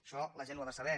això la gent ho ha de saber